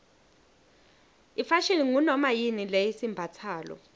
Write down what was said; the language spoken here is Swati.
ifashini ngunomayini lesiyimbatsalo